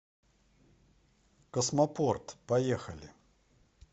космопорт поехали